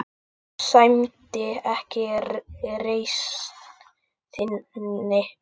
Það sæmdi ekki reisn þinni.